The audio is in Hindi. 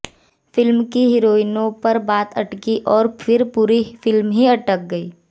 फिल्म की हीरोइनों पर बात अटकी और फिर पूरी फिल्म ही अटक गईं